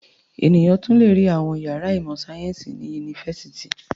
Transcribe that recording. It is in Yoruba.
Ènìyàn tún le rí àwọn ìyàrá ìmọ̀-sáyẹ́ńsì ní yunifásitì.